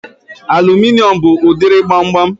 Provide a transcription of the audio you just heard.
Aluminium bụ udiri gbamgbam